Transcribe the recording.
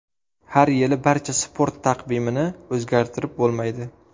Har yili barcha sport taqvimini o‘zgartirib bo‘lmaydi.